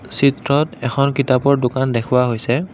চিত্ৰত এখন কিতাপৰ দোকান দেখুওৱা হৈছে।